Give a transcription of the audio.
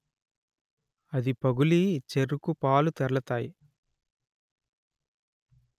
అది పగులి చెరుకు పాలు తెర్లతాయి